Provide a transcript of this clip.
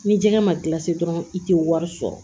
Ni jɛgɛ ma kila se dɔrɔn i tɛ wari sɔrɔ